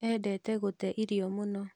Endete gũte irio mũno